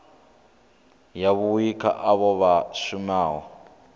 yavhui kha avho vha shumaho